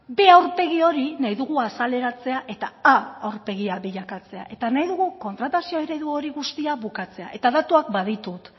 b aurpegi hori nahi dugu azaleratzea eta a aurpegia bilakatzea eta nahi dugu kontratazio eredu hori guztia bukatzea datuak baditut